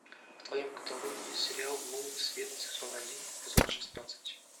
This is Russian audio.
в твоем каталоге есть сериал лунный свет сезон один эпизод шестнадцать